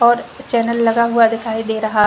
और चैनल लगा हुआ दिखाई दे रहा --